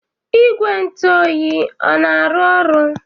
Igwe ntụ oyi o na-arụ ọrụ?